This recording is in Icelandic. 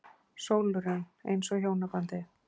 SÓLRÚN: Eins og hjónabandið.